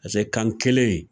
Pase kan kelen